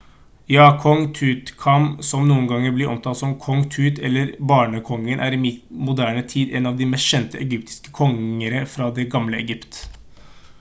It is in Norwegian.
ja! kong tutankhamon som noen ganger blir omtalt som «kong tut» eller «barnekongen» er i moderne tid en av de mest kjente egyptiske kongere fra det gamle egypt